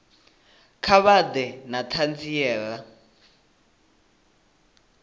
kha vha ḓe na ṱhanziela